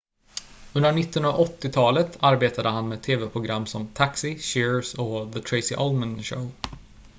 under 1980-talet arbetade han med tv-program som taxi cheers och the tracy ullman show